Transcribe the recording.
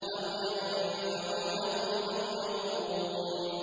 أَوْ يَنفَعُونَكُمْ أَوْ يَضُرُّونَ